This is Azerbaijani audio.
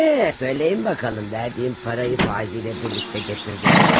Hə, deyin görək, verdiyim pulu faizi ilə birlikdə gətirdinizmi?